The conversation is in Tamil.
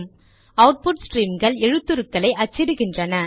அவுட்புட் ஸ்ட்ரீம்கள் எழுத்துக்களை அச்சிடுகின்றன